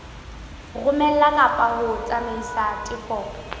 romela kapa ho tsamaisa tefo